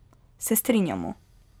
Se strinjamo.